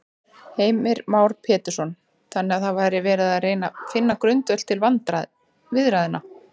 Heimir Már Pétursson: Þannig að það er verið að reyna finna grundvöll til viðræðna?